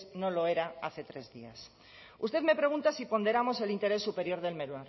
no lo era hace tres días usted me pregunta si ponderamos el interés superior del menor